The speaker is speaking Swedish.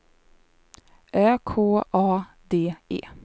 Ö K A D E